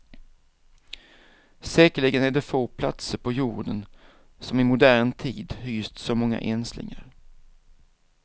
Säkerligen är det få platser på jorden, som i modern tid hyst så många enslingar.